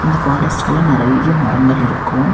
இந்த பாரஸ்ட்குள்ள நறைய மரங்கள் இருக்கு உ.